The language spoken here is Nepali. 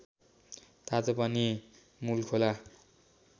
तातो पानी मूलखोला